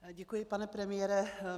Děkuji, pane premiére.